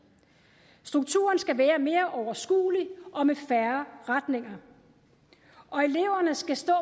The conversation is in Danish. strukturen skal være mere overskuelig og med færre retninger og eleverne skal stå